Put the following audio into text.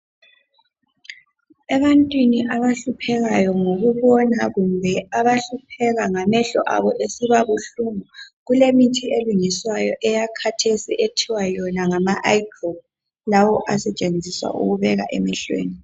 Ebantwini abahlupheka ngokubona kumbe abahlupheka ngamehlo abo esibabuhlungu kulemithi elungiswayo eyakhathesi ethiwa yona ngama "eye globe" , lawo asetshenziswa ukubeka emehlweni.